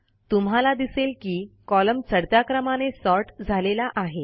तुम्हाला दिसेल की कॉलम चढत्या क्रमाने सॉर्ट झालेला आहे